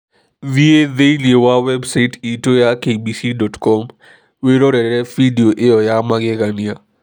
Thiĩ thĩinĩ wa website itũ ya kbc.com wĩrorere bindiũ ĩyo ya magegania.